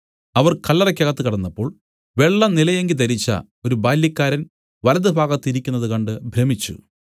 അവർ കല്ലറയ്ക്കകത്ത് കടന്നപ്പോൾ വെള്ളനിലയങ്കി ധരിച്ച ഒരു ബാല്യക്കാരൻ വലത്തുഭാഗത്ത് ഇരിക്കുന്നത് കണ്ട് ഭ്രമിച്ചു